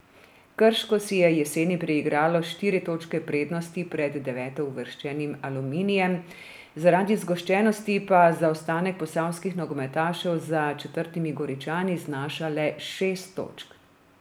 Krško si je jeseni priigralo štiri točke prednosti pred devetouvrščenim Aluminijem, zaradi zgoščenosti pa zaostanek posavskih nogometašev za četrtimi Goričani znaša le šest točk.